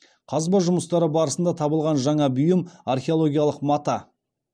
қазба жұмыстары барысында табылған жаңа бұйым археологиялық мата